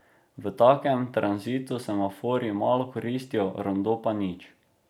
V takem tranzitu semaforji malo koristijo, rondo pa nič.